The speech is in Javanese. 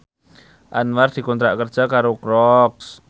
Anwar dikontrak kerja karo Crocs